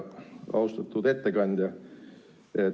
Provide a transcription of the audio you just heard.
Austatud ettekandja!